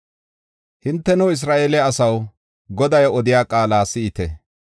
Hinteno, Isra7eele asaw, Goday odiya qaala si7ite!